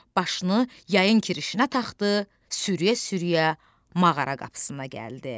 Başını yayın kirişinə taxdı, sürüyə-sürüyə mağara qapısına gəldi.